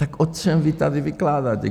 Tak o čem vy tady vykládáte?